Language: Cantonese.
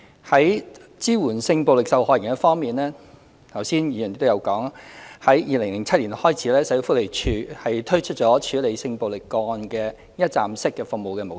在支援性暴力受害人方面，剛才議員亦有提到，自2007年起，社會福利署推出處理性暴力個案的一站式服務模式。